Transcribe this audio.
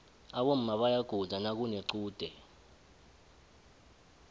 aboma bayaguda nakunequde